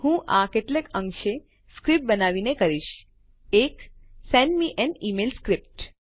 હું આ કેટલેક અંશે સ્ક્રીપ્ટ બનાવીને કરીશ એક send me an email script